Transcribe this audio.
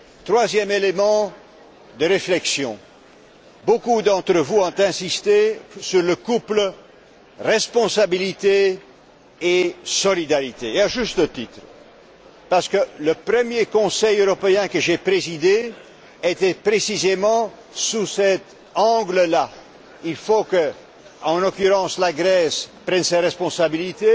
Troisième élément de réflexion beaucoup d'entre vous ont insisté sur le couple responsabilité et solidarité, et à juste titre, parce que le premier Conseil européen que j'ai présidé était précisément placé sous cet angle. Il faut, en l'occurrence, que la Grèce prenne ses responsabilités